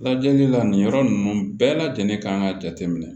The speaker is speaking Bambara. Lajɛli la nin yɔrɔ ninnu bɛɛ lajɛlen kan ka jateminɛ